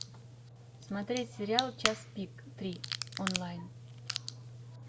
смотреть сериал час пик три онлайн